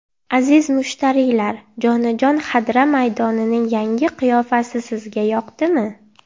Aziz mushtariylar, jonajon Xadra maydonining yangi qiyofasi sizga yoqdimi?